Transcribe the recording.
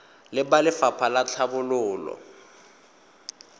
le ba lefapha la tlhabololo